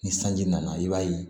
Ni sanji nana i b'a ye